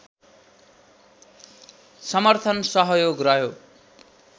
समर्थन सहयोग रह्यो